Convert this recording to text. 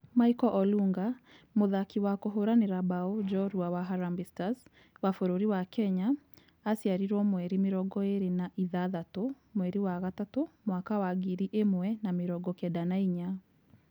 Michael Olunga mũthakĩ wa kũhũranĩra mbao jorua wa Harambee stars wa bũrũri wa Kenya aciariro mweri mĩrongo ĩrĩ na ithathatũ, mwerĩ wa gatatũ mwaka wa ngiri ĩmwe na mĩrongo kenda na inya.